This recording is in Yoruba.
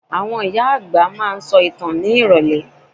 Àwọn ìyá àgbà máa ń sọ ìtàn ní ìrọ̀lẹ́.